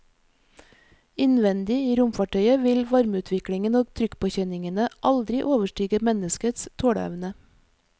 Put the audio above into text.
Innvendig i romfartøyet vil varmeutviklingen og trykkpåkjenningene aldri overstige menneskets tåleevne.